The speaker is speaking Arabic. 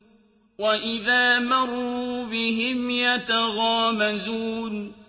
وَإِذَا مَرُّوا بِهِمْ يَتَغَامَزُونَ